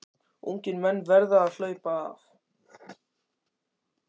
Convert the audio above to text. Ungir menn verða að HLAUPA AF